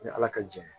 Ni ala ka jɛ